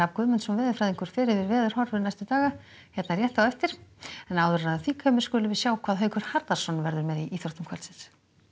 Guðmundsson veðurfræðingur fer yfir veðurhorfur næstu daga hér rétt á eftir og þá skulum við sjá hvað Haukur Harðarson verður með í íþróttum kvöldsins